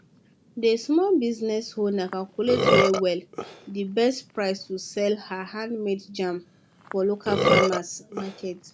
dey small business owner calculate well well d best price to sell her handmade jam for local farmers market